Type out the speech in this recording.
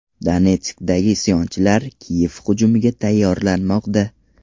Donetskdagi isyonchilar Kiyev hujumiga tayyorlanmoqda.